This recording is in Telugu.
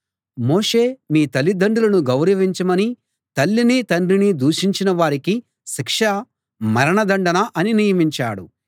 మోషే మీ తల్లిదండ్రులను గౌరవించమనీ తల్లిని తండ్రిని దూషించిన వారికి శిక్ష మరణదండన అనీ నియమించాడు